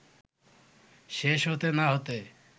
শেষ হতে না হতে